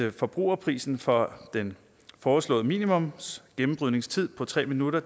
at forbrugerprisen for den foreslåede minimumsgennembrydningstid på tre minutter